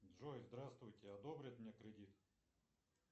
джой здравствуйте одобрят мне кредит